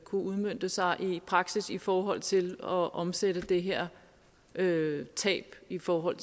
udmønte sig i praksis i forhold til at omsætte det her tab i forhold